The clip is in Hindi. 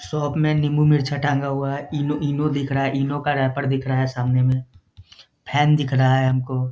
शॉप में नींबू मिर्चा टांगा हुआ है ईनो ईनो दिख रहा है इनो का रैपर दिख रहा है सामने में फैन दिख रहा है हमको।